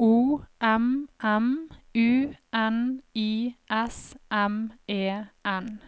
O M M U N I S M E N